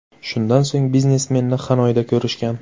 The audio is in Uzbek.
Shundan so‘ng biznesmenni Xanoyda ko‘rishgan.